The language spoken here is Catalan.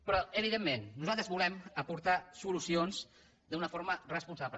però evidentment nosaltres volem aportar solucions d’una forma responsable